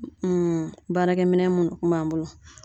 baarakɛminɛn munnu kun b'an bolo